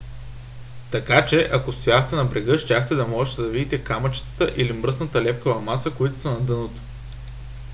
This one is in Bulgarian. така че ако стояхте на брега щяхте да можете да видите камъчетата или мръсната лепкава маса които са на дъното